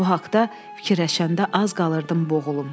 Bu haqda fikirləşəndə az qalırdım boğulum.